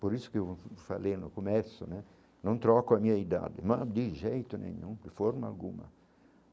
Por isso que eu falei no começo né, não troco a minha idade, mas de jeito nenhum, de forma alguma.